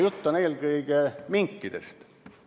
Jutt on eelkõige minkidest.